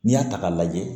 N'i y'a ta k'a lajɛ